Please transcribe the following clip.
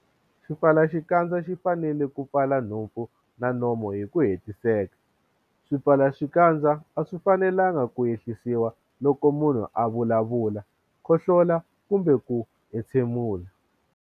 Xipfalaxikandza xi fanele ku pfala nhompfu na nomo hi ku hetiseka. Swipfalaxikandza a swi fanelanga ku ehlisiwa loko munhu a vulavula, khohlo-la kumbe ku entshemula.